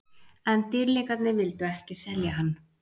En Dýrlingarnir vildu ekki selja hann.